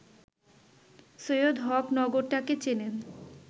সৈয়দ হক নগরটাকে চেনেন